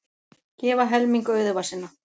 Gefa helming auðæfa sinna